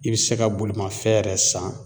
I be se ka bolimafɛn yɛrɛ san